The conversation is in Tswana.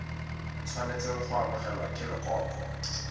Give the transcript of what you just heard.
tshwanetseng go amogelwa ke leloko